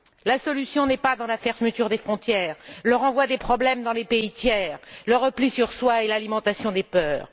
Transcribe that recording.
La solution n'est pas dans la fermeture des frontières, le renvoi des problèmes dans les pays tiers, le repli sur soi et l'alimentation des peurs.